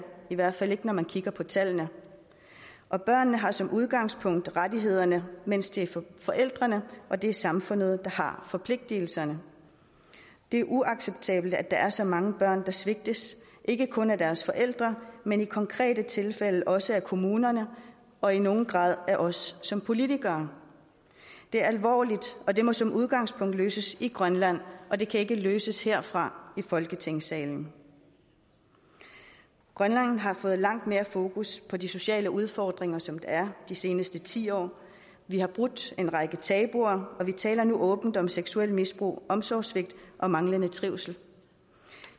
i hvert fald ikke når man kigger på tallene børnene har som udgangspunkt rettighederne mens det er forældrene og det er samfundet der har forpligtelserne det er uacceptabelt at der er så mange børn der svigtes ikke kun af deres forældre men i konkrete tilfælde også af kommunerne og i nogen grad af os som politikere det er alvorligt og det må som udgangspunkt løses i grønland og det kan ikke løses her fra folketingssalen grønland har fået langt mere fokus på de sociale udfordringer som der er de seneste ti år vi har brudt en række tabuer og vi taler nu åbent om seksuelt misbrug omsorgssvigt og manglende trivsel